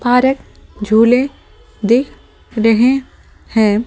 Park झूले दिख रहे हैं ।